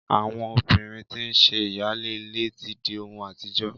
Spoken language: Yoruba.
Àwọn obìrin tí nṣe ìyáálé ilé tí di ohun àtijọ́